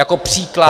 Jako příklad -